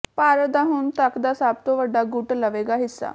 ਭਾਰਤ ਦਾ ਹੁਣ ਤੱਕ ਦਾ ਸਭ ਤੋਂ ਵੱਡਾ ਗੁੱਟ ਲਵੇਗਾ ਹਿੱਸਾ